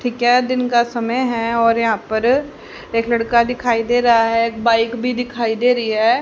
दिन का समय है और यहां पर एक लड़का दिखाई दे रहा है। एक बाइक भी दिखाई दे रही है।